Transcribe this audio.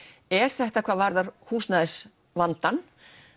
er þetta hvað varðar húsnæðisvandann